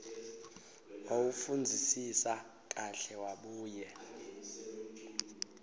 wawufundzisisa kahle wabuye